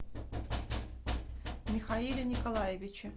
михаиле николаевиче